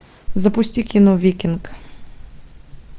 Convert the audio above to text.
запусти кино викинг